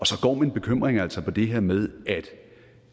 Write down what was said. så går min bekymring altså på det her med at